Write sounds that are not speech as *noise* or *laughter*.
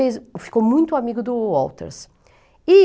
*unintelligible* ficou muito amigo do Walters. E